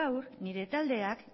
gaur nire taldeak